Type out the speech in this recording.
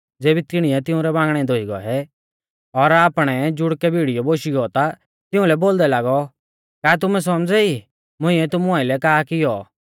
ज़ेबी तिणीऐ तिंउरै बांगणै धोई गौऐ और आपणै जुड़कै भिड़ीयौ बोशी गौ ता तिउंलै बोलदै लागौ का तुमै सौमझ़ै ई कि मुंइऐ तुमु आइलै का किऔ